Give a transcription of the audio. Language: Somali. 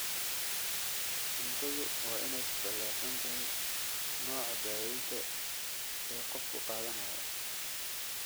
Cuntadu waa inay ku salaysan tahay nooca daawaynta ee qofku qaadanayo.